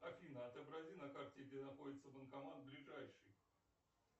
афина отобрази на карте где находится банкомат ближайший